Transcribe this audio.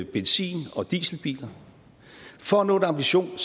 benzin og dieselbiler for at nå en ambition